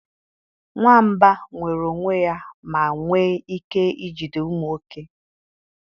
Nwamba nwere onwe ya ma nwee ike ijide ụmụ oke